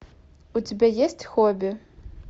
у тебя есть хобби